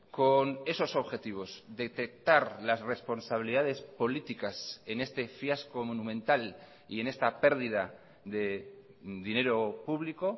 con esos objetivos detectar las responsabilidades políticas en este fiasco monumental y en esta pérdida de dinero público